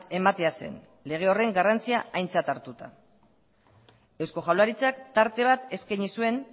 ematea zen lege horren garrantzia aintzat hartuta eusko jaurlaritzak tarte bateskaini zuen